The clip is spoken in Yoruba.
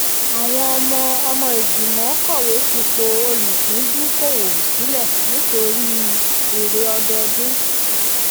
àwọn ọmọ ọmọ igbimọ̀ kọ̀wé fipò olùpìndùúkọ̀wọ̀ um sílẹ̀ nítorí um èrè ọdọdún.